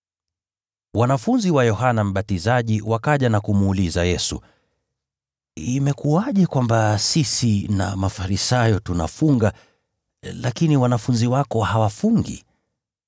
Wanafunzi wa Yohana Mbatizaji wakaja na kumuuliza Yesu, “Imekuwaje kwamba sisi na Mafarisayo tunafunga, lakini wanafunzi wako hawafungi?”